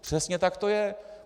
Přesně tak to je.